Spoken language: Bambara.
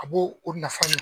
A b'o nafa ɲɛ.